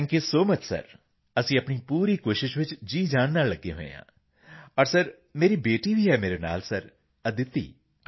GRP CPT sir thank you so much sir ਅਸੀਂ ਆਪਣੀ ਪੂਰੀ ਕੋਸ਼ਿਸ਼ ਵਿੱਚ ਜੀਅਜਾਨ ਨਾਲ ਲੱਗੇ ਹੋਏ ਹਾਂ ਅਤੇ ਮੇਰੀ ਬੇਟੀ ਵੀ ਮੇਰੇ ਨਾਲ ਹੈ ਸਰ ਅਦਿਤੀ